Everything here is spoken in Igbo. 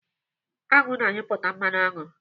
Aṅụ na-anyụpụta mmanụ aṅụ.